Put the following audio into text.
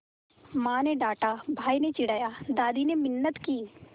माँ ने डाँटा भाई ने चिढ़ाया दादी ने मिन्नत की